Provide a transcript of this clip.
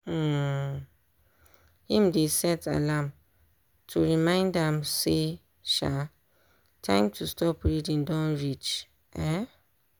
um him dey set alarm to remind am say um time to stop reading don reach. um